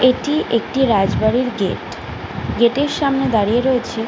এটি একটি রাজবাড়ির গেট গেট -এর সামনে দাঁড়িয়ে রয়েছে --